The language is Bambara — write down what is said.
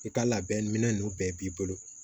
I ka labɛn minɛn nunnu bɛɛ b'i bolo